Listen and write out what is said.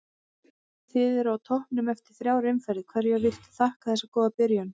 Þið eruð á toppnum eftir þrjár umferðir, hverju viltu þakka þessa góðu byrjun?